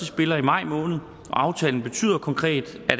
spiller i maj måned og aftalen betyder konkret at